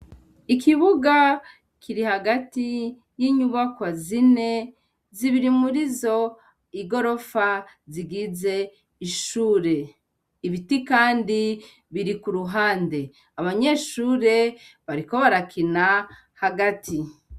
Ikibuga kiri hagati y'inyubakwa zine zibiri murizo igorofa zigize ishure, ibiti kandi biri ku ruhande, abanyeshure bariko barakina hagati.